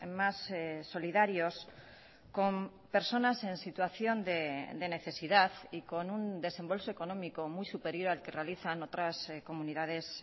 más solidarios con personas en situación de necesidad y con un desembolso económico muy superior al que realizan otras comunidades